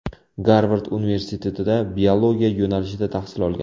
Garvard universitetida biologiya yo‘nalishida tahsil olgan.